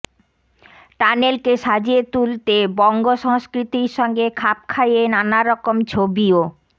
টানেলকে সাজিয়ে তুলতে বঙ্গ সংস্কৃতির সঙ্গে খাপ খাইয়ে নানারকম ছবিও